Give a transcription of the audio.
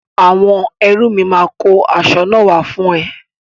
Àwọn ẹrú mi máa kó asọ náà wá fún ẹ.